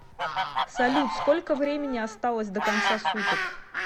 салют сколько времени осталось до конца суток